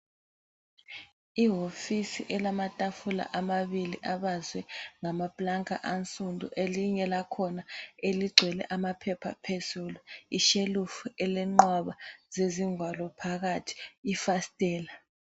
Ihofisi elamatafula amabili abazwe ngama pulanka ansundu elinye lakhona eligcwele amaphepha phezulu ishelufu elenqwaba zezingwalo phakathi ifasitela.